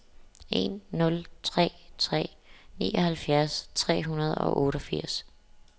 en nul tre tre nioghalvfjerds tre hundrede og otteogfirs